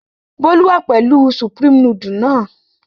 Bólú wà pẹ̀lú Supreme nudule náà.